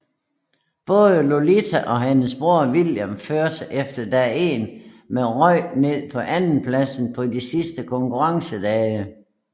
Både Lottie og hendes bror William førte efter dag 1 men røg ned på andenpladsen på den sidste konkurrencedag